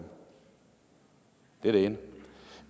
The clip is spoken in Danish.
det er det ene